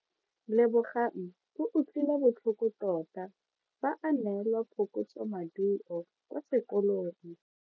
Lebogang o utlwile botlhoko tota fa a neelwa phokotsomaduo kwa sekolong.